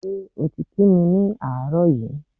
Ṣé o ti kí mi ni àárọ̀ yí?